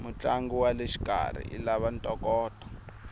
mutlangi waleshikarhi ilava ntokoto